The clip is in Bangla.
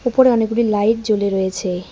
উপরে অনেকগুলো লাইট জ্বলে রয়েছে।